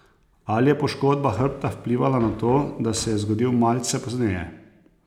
Ali je poškodba hrbta vplivala na to, da se je zgodil malce pozneje?